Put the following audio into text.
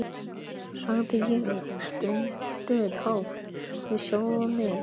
sagði ég stundarhátt við sjálfa mig.